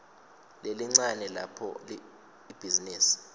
lelincane lapho ibhizinisi